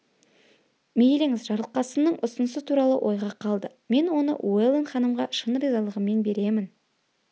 мейліңіз жарылқасынның ұсынысы туралы ойға қалды мен оны уэлдон ханымға шын ризалығыммен беремін